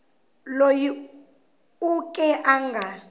loyi u ke a nga